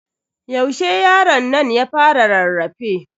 Yaushe yaronnan ya fara rarrafe?